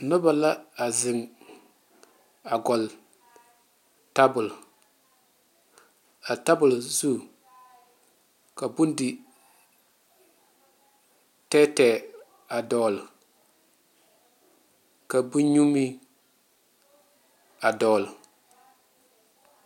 Noba la a zeŋ a gɔgle tabol, a tabol zu ka bondi tɛɛtɛɛ a dɔgle ka bonnyu meŋ a dɔgle.